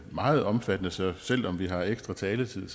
meget omfattende så selv om vi har ekstra taletid